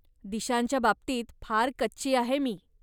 दिशांच्याबाबतीत फार कच्ची आहे मी.